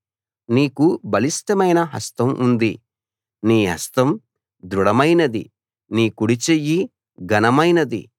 నీకు బలిష్టమైన హస్తం ఉంది నీ హస్తం దృఢమైనది నీ కుడిచెయ్యి ఘనమైనది